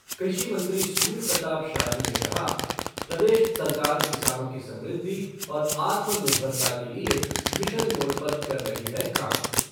कृषि मंत्री सूर्य प्रताप शाही ने कहा प्रदेश सरकार किसानों की समृद्धि और आत्मनिर्भता के लिए मिशन मोड पर कर रही है काम